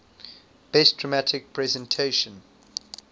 best dramatic presentation